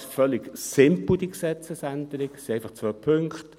Diese Gesetzesänderung ist völlig simpel, es sind einfach zwei Punkte.